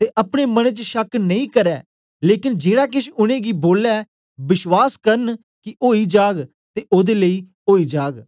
ते अपने मने च शक नेई करें लेकन जेड़ा केछ उनेंगी बोले बश्वास करन कि ओई जाग ते ओदे लेई ओई जाग